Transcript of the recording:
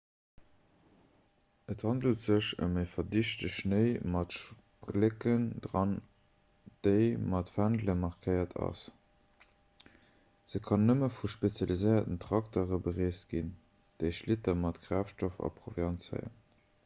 et handelt sech ëm verdichte schnéi mat splécken dran an dee mat fändele markéiert ass se kann nëmme vu spezialiséierten traktere bereest ginn déi schlitter mat kraaftstoff a proviant zéien